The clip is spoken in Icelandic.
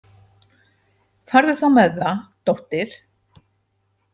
Farðu þá með það, dóttir.